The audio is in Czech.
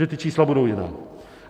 Že ta čísla budou jiná.